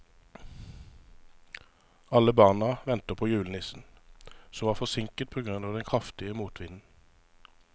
Alle barna ventet på julenissen, som var forsinket på grunn av den kraftige motvinden.